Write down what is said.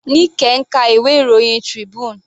Nike ń ka ìwé ìròyìn Tribune.